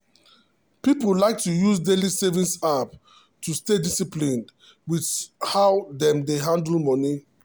people like to use daily saving app to stay disciplined with how dem dey handle money.